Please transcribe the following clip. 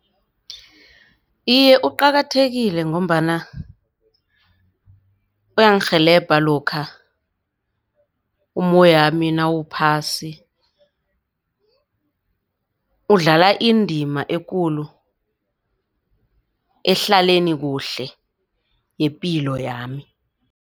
Iye, uqakathekile ngombana kuyangirhelebha lokha umoyami nawuphasi udlala indima ekulu ehlaleni kuhle yepilo yami.